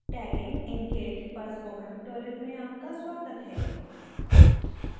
tagging in git पर spoken tutorial में आपका स्वागत है